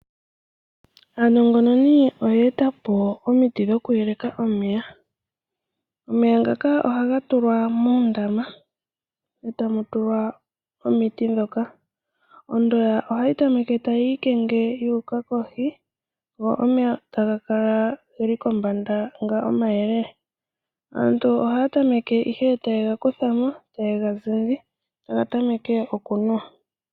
Aanongononi oyeetapo omiti dhoku yeleka omeya. Omeya ngaka ohaga tulwa moondama, etamu tulwa omiti ndhoka. Ondoya ohayi tameke tayi ikenge yuuka kohi , go omeya taga kala geli kombanda nga omayelele. Aantu ohaya tameke ihe oku kuthamo omeya , taye ga zindi taga tamekwa okunuwa.